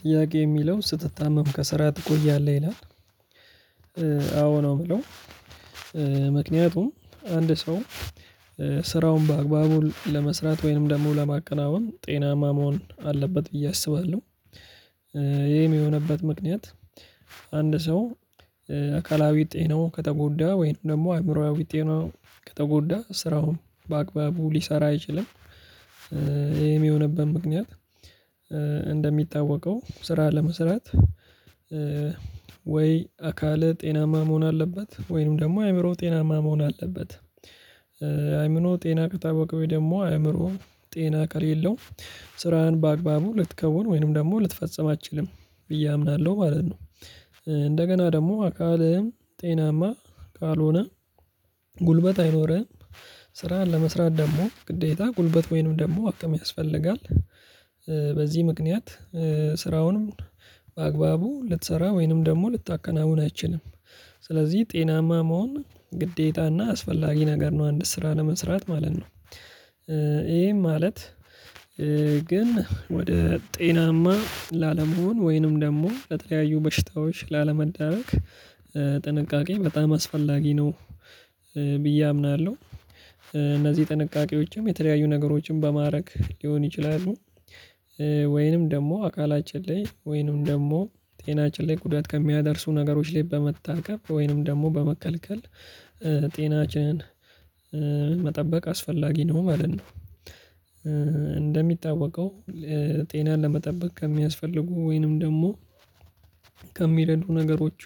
ጥያቄ የሚለው ስትታመም ከስራ ትቆያለህ ይላል። አዎ ነው የምለው። ምክንያቱም አንድ ሰው ስራውን በአግባቡ ለመስራት ወይንም ደግሞ ለማከናወን ጤናማ መሆን አለበት ብዬ አስባለሁ። ይሄም የሆነበት ምክንያት አንድ ሰው አካላዊ ጤናው ከተጎዳ ወይም ደግሞ አእምሮአዊ ጤናው ከተጎዳ ስራውን በአግባቡ ሊሰራ አይችልም። የሚሆንብን ምክንያት እንደሚታወቀው ስራ ለመስራት ወይ አካለ ጤናማ መሆን አለበት ወይንም ደግሞ አእምሮው ጤናማ መሆን አለበት። አእምሮ ጤና ወይ ደግሞ አእምሮ ጤና ከሌለው ስራህን በአግባቡ ልትከውን ወይንም ደግሞ ልትፈጽም አትችልም ብዬ አምናለሁ ማለት ነው። እንደገና ደግሞ አካልህ ጤናማ ካልሆነ ጉልበት አይኖርህም። ስራ ለመስራት ደግሞ ግዴታ ጉልበት ወይንም ደግሞ አቅም ያስፈልጋል። በዚህ ምክንያት ስራውንም በአግባቡ ልትሰራ ወይንም ደግሞ ልታከናውን አይችልም። ስለዚህ ጤናማ መሆን ግዴታና አስፈላጊ ነገር ነው አንድ ስራ ለመስራት ማለት ነው። ይሄ ማለት ግን ወደ ጤናማ ላለመሆን ወይንም ደግሞ ለተለያዩ በሽታዎች ላለመዳረግ ጥንቃቄ በጣም አስፈላጊ ነው ብዬ አምናለሁ። እነዚህ ጥንቃቄዎችም የተለያዩ ነገሮችም በማድረግ ሊሆን ይችላሉ። ወይንም ደግሞ አካላችን ላይ ወይንም ደግሞ ጤናችን ላይ ጉዳት ከሚያደርሱ ነገሮች ላይ በመታከብ ወይንም ደግሞ በመከልከል ጤናችንን መጠበቅ አስፈላጊ ነው ማለት ነው። እንደሚታዋቀው ጤናን ለመጠበቅ ከሚያስፈልጉ ወይንም ደግሞ ከሚረዱ ነገሮቹ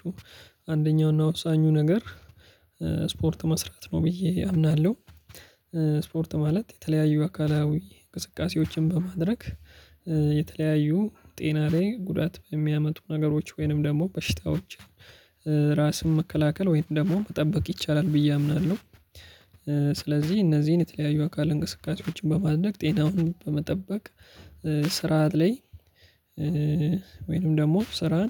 አንደኛውና ወሳኙ ነገር ስፖርት መስራት ነው ብዬ አምናለሁ። ስፖርት ማለት የተለያዩ አካላዊ እንቅስቃሴዎችን በማድረግ የተለያዩ ጤና ላይ ጉዳት በሚያመጡ ነገሮች ወይንም ደግሞ በሽታዎች ራስን መከላከል ወይንም ደግሞ መጠበቅ ይቻላል ብዬ አምናለሁ። ስለዚህ እነዚህን የተለያዩ አካል እንቅስቃሴዎችን በማድነቅ ጤናውን በመጠበቅ ስርዓት ላይ ወይንም ደግሞ ስራን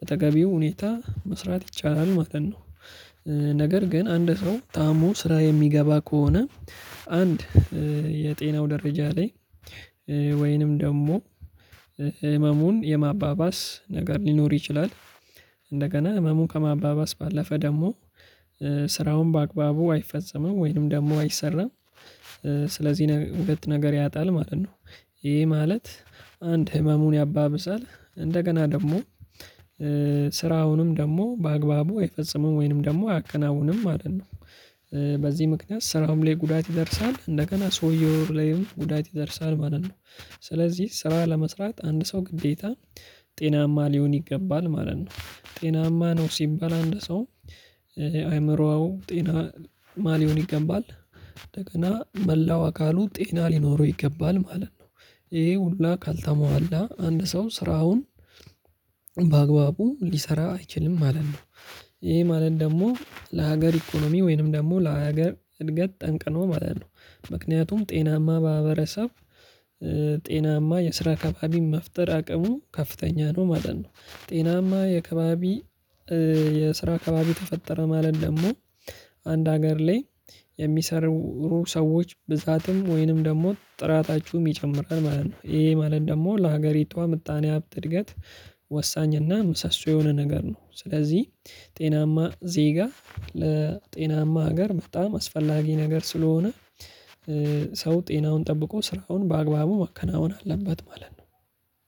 በተገቢው ሁኔታ መስራት ይቻላል ማለት ነው። ነገር ግን አንድ ሰው ታሞ ስራ የሚገባ ከሆነ አንድ የጤናው ደረጃ ላይ ወይንም ደግሞ ህመሙን የማባባስ ነገር ሊኖር ይችላል። እንደገና ህመሙን ከማባባስ ባለፈ ደግሞ ስራውን በአግባቡ አይፈጸምም ወይንም ደግሞ አይሰራም። ስለዚህ ሁለት ነገር ያጣል ማለት ነው። ይሄ ማለት አንድ ህመሙን ያባብሳል፣ እንደገና ደግሞ ስራውንም ደግሞ በአግባቡ አይፈጽምም ወይንም ደግሞ አያከናውንም ማለት ነው። በዚህ ምክንያት ስራውም ላይ ጉዳት ይደርሳል እንደገና ሰውየው ላይም ጉዳት ይደርሳል ማለት ነው። ስለዚህ ስራ ለመስራት አንድ ሰው ግዴታ ጤናማ ሊሆን ይገባል ማለት ነው። ጤናማ ነው ሲባል አንድ ሰው አእምሮዋው ጤናማ ሊሆን ይገባል። እንደገና መላው አካሉ ጤና ሊኖረው ይገባል ማለት ነው። ይሄ ሁላ ካልተሟላ አንድ ሰው ስራውን በአግባቡ ሊሰራ አይችልም ማለት ነው። ይሄ ማለት ደግሞ ለሀገር ኢኮኖሚ ወይንም ደግሞ ለሀገር እድገት ጠንቅሎ ማለት ነው። ምክንያቱም ጤናማ በሀበረሰብ ጤናማ የስራ አከባቢ መፍጠር አቅሙ ከፍተኛ ነው ማለት ነው። ጤናማ የአከባቢ የስራ አከባቢ ተፈጠረ ማለት ደግሞ አንድ ሀገር ላይ የሚሰሩ ሰዎች ብዛትም ወይንም ደግሞ ጥራታችሁም የሚጨምረን ማለት ነው። ይሄ ማለት ደግሞ ለሀገሪቷ ምጣኔ ሀብት እድገት ወሳኝ እና ምሰሶ የሆነ ነገር ነው። ስለዚህ ጤናማ ዜጋ ለጤናማ ሀገር በጣም አስፈላጊ ነገር ስለሆነ ሰው ጤናውን ጠብቆ ስራውን በአግባቡ መከናወን አለበት ማለት ነው።